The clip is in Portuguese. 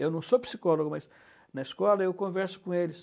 Eu não sou psicólogo, mas na escola eu converso com eles.